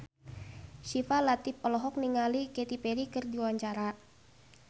Syifa Latief olohok ningali Katy Perry keur diwawancara